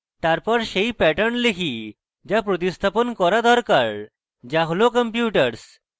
তারপর সেই pattern লিখি যা প্রতিস্থাপণ করা দরকার যা হল computers